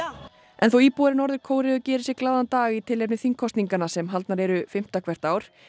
en þó íbúar Norður Kóreu geri sér glaðan dag í tilefni þingkosninganna sem haldnar eru fimmta hvert ár